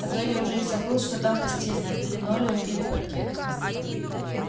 а то я уже и забыл что там постелено линолеум или паркет